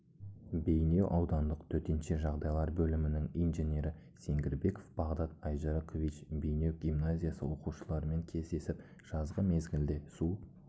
бейнеу аудандық төтенше жағдайлар бөлімінің инженері сенгирбеков бағдат айжарыкович бейнеу гимназиясы оқушыларымен кездесіп жазғы мезгілде су